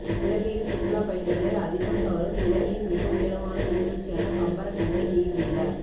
இலங்கையில் சுற்றுலா பயணிகளை அதிகம் கவரும் இலங்கையின் மிக உயரமான நீர்வீழ்ச்சியான பம்பரக்கந்தை நீர்வீழ